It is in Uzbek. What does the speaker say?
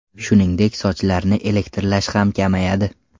Shuningdek, sochlarni elektrlashishi ham kamayadi.